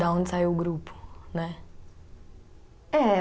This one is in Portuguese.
Da onde saiu o grupo, né? É